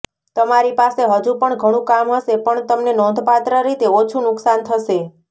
તમારી પાસે હજુ પણ ઘણું કામ હશે પણ તમને નોંધપાત્ર રીતે ઓછું નુકસાન થશે